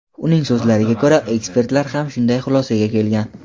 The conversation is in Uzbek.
Uning so‘zlariga ko‘ra, ekspertlar ham shunday xulosaga kelgan.